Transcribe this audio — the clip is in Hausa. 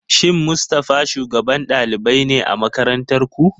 Shin Mustafa shugaban ɗalibai ne a makarantar ku?